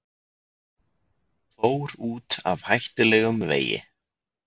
Fór út af hættulegum vegi